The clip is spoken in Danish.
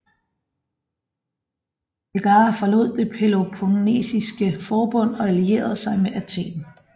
Megara forlod det Peloponnesiske Forbund og allierede sig med Athen